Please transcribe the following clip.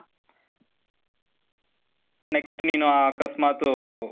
next ನೀನು ಅಕಸ್ಮಾತೂ,